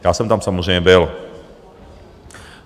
Já jsem tam samozřejmě byl.